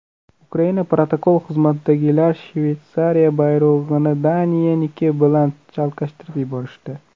Ukraina protokol xizmatidagilar Shveysariya bayrog‘ini Daniyaniki bilan chalkashtirib yuborishdi.